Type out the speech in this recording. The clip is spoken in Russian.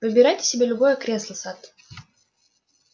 выбирайте себе любое кресло сат